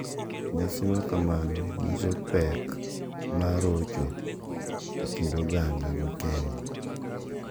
Nyasi makamago nyiso pek mar rojho e kind oganda Kenya.